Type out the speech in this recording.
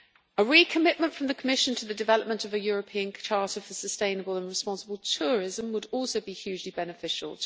A recommitment from the Commission to the development of a European charter for sustainable and responsible tourism would also be hugely beneficial.